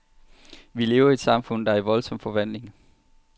Vi lever i et samfund, der er i voldsom forvandling.